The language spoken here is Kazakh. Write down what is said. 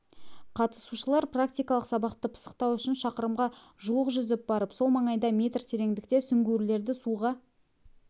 қатысушылар практикалық сабақты пысықтау үшін шақырымға жуық жүзіп барып сол маңайда метр тереңдікте сүңгуірлерді суға